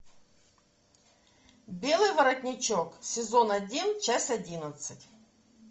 белый воротничок сезон один часть одиннадцать